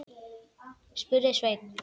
spurði Sveinn.